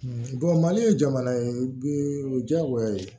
mali ye jamana ye bi o ye diyagoya ye